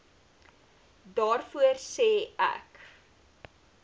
daarvoor sê ek